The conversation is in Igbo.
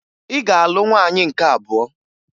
Ị ga-alụ nwaanyị nke abụọ!